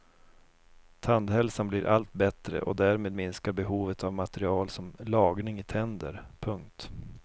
Tandhälsan blir allt bättre och därmed minskar behovet av material som lagning i tänder. punkt